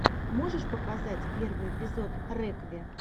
можешь показать первый эпизод рекви